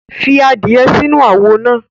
Fi adie sinu awo naa